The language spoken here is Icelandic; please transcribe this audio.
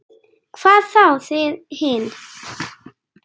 Hvað þá þið hin.